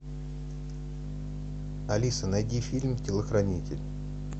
алиса найди фильм телохранитель